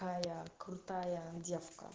а я крутая девка